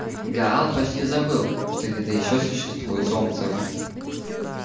гаал почти забыл что где-то ещё существует солнце